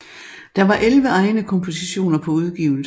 Der var 11 egne kompositioner på udgivelsen